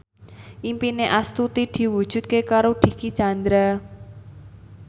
impine Astuti diwujudke karo Dicky Chandra